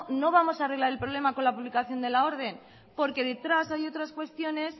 no vamos a arreglar el problema con la publicación de la orden porque detrás hay otras cuestiones